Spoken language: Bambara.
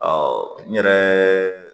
n yɛrɛ